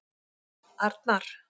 Arnar